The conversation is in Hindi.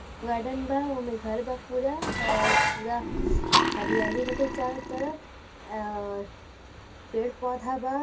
गार्डन बा| ओमे घर बा पूरा और पूरा हरियाली बाटे चारो तरफ और पेड़ पौधा बा